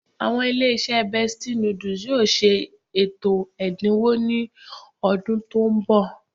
Àwọn ilé-iṣẹ́ Bestie noodles yóò ṣe ètò ẹ̀dínwó ní ọdún tó ń bọ̀